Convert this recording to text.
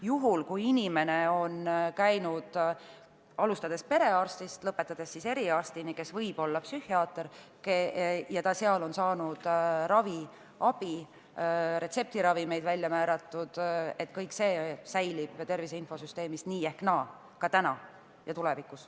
Juhul kui inimene on käinud arsti juures, alustades perearstist ja lõpetades eriarstiga, kes võib olla psühhiaater, ja ta on saanud ravi, retseptiravimeid on välja kirjutatud, siis kõik see säilib tervise infosüsteemis nii ehk naa, täna ja ka tulevikus.